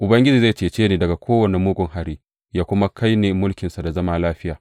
Ubangiji zai cece ni daga kowane mugun hari yă kuma kai ni mulkinsa na sama lafiya.